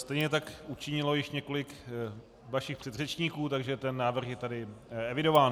Stejně tak učinilo již několik vašich předřečníků, takže ten návrh je tady evidován.